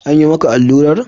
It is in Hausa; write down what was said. An yi maka allurar?